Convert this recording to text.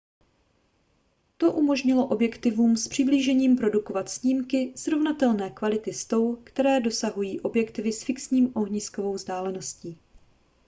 to umožnilo objektivům s přiblížením produkovat snímky srovnatelné kvality s tou kterou dosahují objektivy s fixní ohniskovou vzdáleností